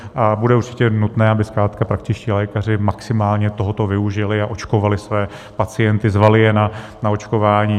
A bude určitě nutné, aby zkrátka praktičtí lékaři maximálně tohoto využili a očkovali své pacienty, zvali je na očkování.